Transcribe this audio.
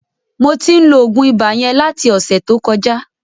Mo tí ń lo oògùn ibà yẹn láti ọ̀sẹ̀ tó kọjá.